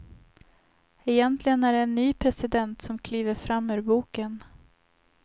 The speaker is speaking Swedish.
Egentligen är det en ny president som kliver fram ur boken.